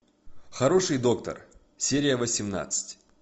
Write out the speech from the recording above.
хороший доктор серия восемнадцать